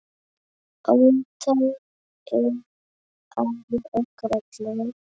Óttar er afi okkar allra.